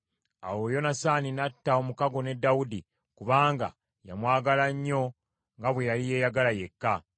Awo Yonasaani n’atta omukago ne Dawudi kubanga yamwagala nnyo nga bwe yali yeeyagala yekka.